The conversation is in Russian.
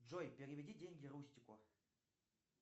джой переведи деньги рустику